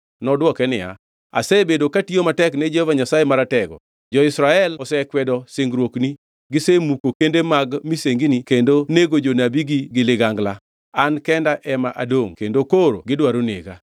Nodwoko niya, “Asebedo katiyo matek ni Jehova Nyasaye Maratego. Jo-Israel osekwedo singruokni, gisemuko kende mag misengini kendo nego jonabigi gi ligangla. An kenda ema adongʼ kendo koro gidwaro nega.”